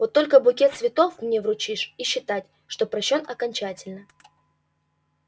вот только букет цветов мне вручишь и считай что прощён окончательно